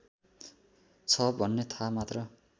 छ भन्ने थाहा मात्र